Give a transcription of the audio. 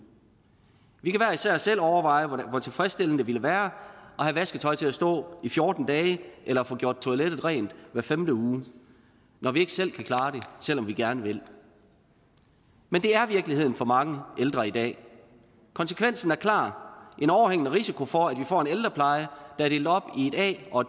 vi kan hver især selv overveje hvor tilfredsstillende det ville være at have vasketøj til at stå i fjorten dage eller få gjort toilettet rent hver femte uge når vi ikke selv kan klare det selv om vi gerne vil men det er virkeligheden for mange ældre i dag konsekvensen er klar en overhængende risiko for at vi får en ældrepleje der er delt op i et a og